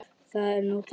Það er nú það?